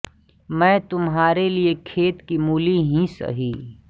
मैं तुम्हारे लिए खेत की मूली ही सही